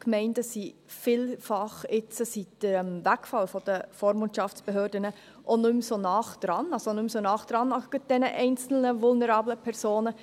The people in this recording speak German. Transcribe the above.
Die Gemeinden sind jetzt seit dem Wegfall der Vormundschaftsbehörden vielfach auch nicht mehr so nahe dran, gerade bei diesen einzelnen vulnerablen Personen.